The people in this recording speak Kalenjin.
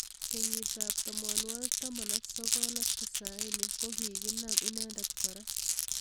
Kenyit ab tamanwakik taman ak sokol ak tisaini kokikinam inendet kora.